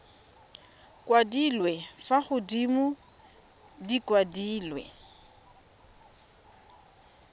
kwadilwe fa godimo di kwadilwe